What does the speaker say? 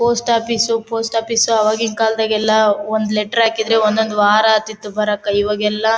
post office post office ಆವಾಗೀನ್ ಕಾಲದಗೆಲ್ಲಾ ಒಂದ್ ಲೇಟರ್ ಹಾಕಿದ್ರೆ ಒಂದ್ ಒಂದ್ ವಾರ ಆತಿತು ಬರಕ್ ಇವಾಗೆಲ್ಲಾ --